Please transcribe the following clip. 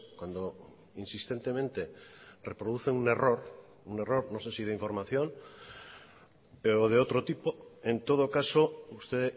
cuando insistentemente reproduce un error un error no sé si de información o de otro tipo en todo caso usted